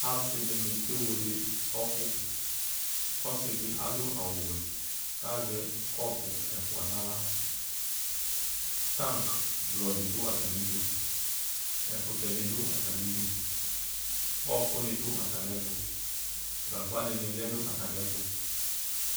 Asɩdɩnɩ ke wele ɛfkʋ : ɔsɩdɩ adʋ awʋwɛ k'azɛ kɔpʋ ɛfʋa n'aɣla Taŋkɩ blɔdɩ dʋ atamidu , ɛkʋtɛdɩ dʋ atamidu , ɔɔkʋnɩ dʋ atamɩɛtʋ , gagba dɩnɩ lɛ nʋ atamɩɛtʋ